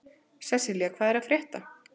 Sesselja, hvað er að frétta?